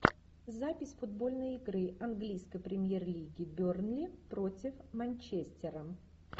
запись футбольной игры английской премьер лиги бернли против манчестера